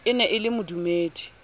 e ne e le modumedi